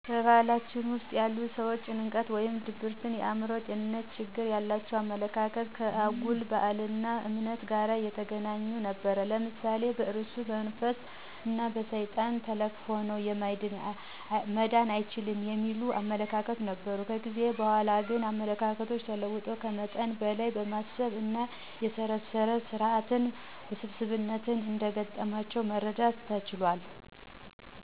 በባህላችን ውስጥ ያሉ ሠዎች ጭንቀት ወይም ድብርት የአእምሮ ጤንነት ትግሎች ያላቸው አመለካከት ከአጉል ባህል እና እምነት ጋር የተገናኙ ነበር። ለምሳሌ በእርኩስ መንፈስ እን በሠይጣን ተለክፈው ነው መዳን አይችሉም የሚል አመለካከት ነበር። ከጊዜ በኃላ ግን አመለካከቶች ተለውጠው ከመጠን በለይ በማሰብ እና የሠረሰር ስራት ውስብስብነት እንደ ገጠማቸው መረዳት ተችሏል።